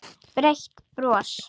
Breitt bros.